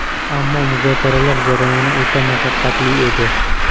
Ammo muzokaralar jarayoni o‘ta mashaqqatli edi.